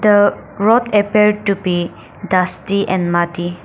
the road appear to be dusty and muddy.